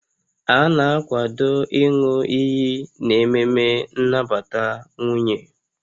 A na-akwado ịñụ iyi n'ememe nnabata nwunye